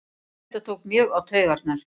Já þetta tók mjög á taugarnar